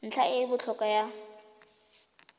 ntlha e e botlhokwa ya